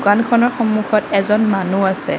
দোকানখনৰ সন্মুখত এজন মানুহ আছে।